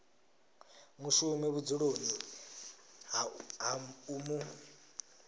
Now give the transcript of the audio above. mushumi vhudzuloni ha u mu